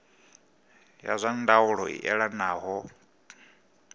ya zwa ndaulo i elanaho